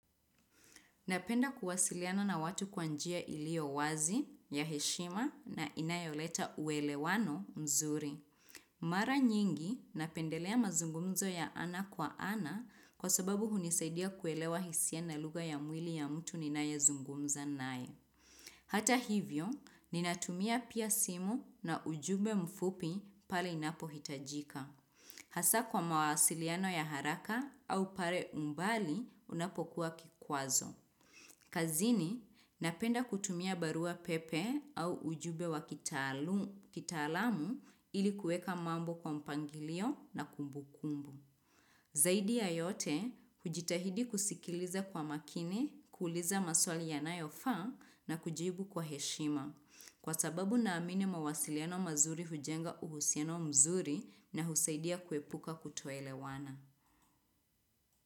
Napenda kuwasiliana na watu kwa njia iliyo wazi, ya heshima na inayoleta uelewano mzuri. Mara nyingi napendelea mazungumzo ya ana kwa ana kwa sababu hunisaidia kuelewa hisia na lugha ya mwili ya mtu ninayezungumza naye. Hata hivyo, ninatumia pia simu na ujumbe mfupi pale inapohitajika. Hasa kwa mawasiliano ya haraka au pale umbali unapokuwa kikwazo. Kazini, napenda kutumia barua pepe au ujumbe wa kitaalu kitaalamu ili kuweka mambo kwa mpangilio na kumbu kumbu. Zaidi ya yote, hujitahidi kusikiliza kwa makini, kuuliza maswali yanayofaa na kujibu kwa heshima. Kwa sababu naamini mawasiliano mazuri hujenga uhusiano mzuri na husaidia kuepuka kutoelewana.